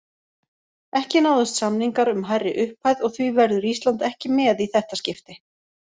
Ekki náðust samningar um hærri upphæð og því verður Ísland ekki með í þetta skipti.